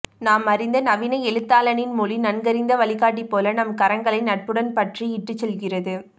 நாமறிந்த நவீன எழுத்தாளனின் மொழி நன்கறிந்த வழிகாட்டி போல நம் கரங்களை நட்புடன் பற்றி இட்டுச்செல்கிறது